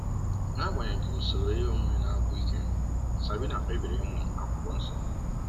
N'agbanyeghị usoro ihe omume na-agwụ ike, Sabina kpebiri ịmụ akwukwo nsọ.